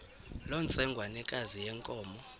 loo ntsengwanekazi yenkomo